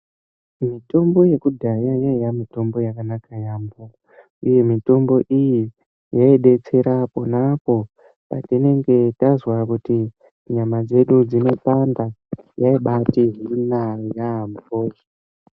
Mitombo yakudhaya yaiye mitombo yakanaka yaamho uye mitombo iyi yaibetsera apo neapo patinenge tazwa kuti nyama dzedu dzinobanda yaibatihina yaamho.